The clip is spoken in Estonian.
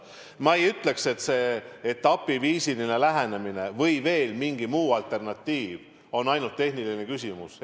Ma ei ütleks, et see etapiviisiline lähenemine või veel mingi muu alternatiiv on ainult tehniline küsimus.